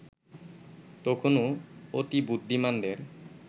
তখনো অতিবুদ্ধিমানদের